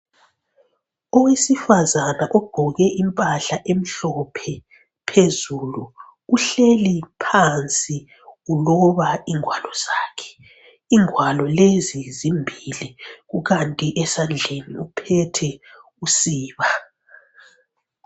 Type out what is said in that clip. Owesifazana ogqoke impahla emhlophe phezulu, uhleli phansi uloba ingwalo zakhe. Ingwalo lezi zimbili kukanti esandleni uphethe usiba.